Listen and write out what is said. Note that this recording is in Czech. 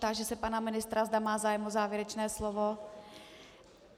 Táži se pana ministra, zda má zájem o závěrečné slovo.